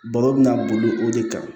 Baro bɛna boli o de kan